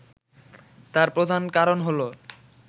তার প্রধান কারণ হলো